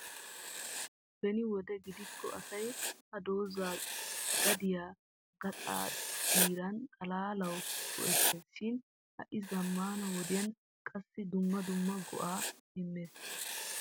beni wode gidikko asay ha doozaa gadiyaa gaxaa dirana xalaalawu go''eettees shin ha'i zammana wodiyaan qassi dumma dumma go''a immees.